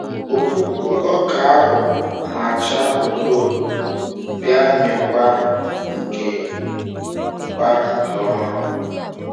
Ọkpụpụ ọka ahụ n'acha edo edo bia mị kwa nke kwa nke ọma.